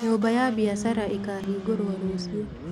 Nyũmba ya biacara ĩkahingũrwo rũciũ